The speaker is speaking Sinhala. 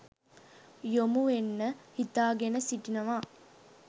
යොමුවෙන්න හිතාගෙන සිටිනවා